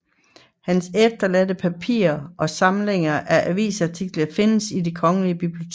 Hans efterladte papirer og samling af avisartikler findes i Det Kongelige Bibliotek